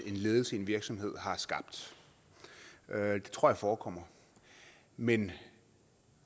en ledelse i en virksomhed har skabt det tror jeg forekommer men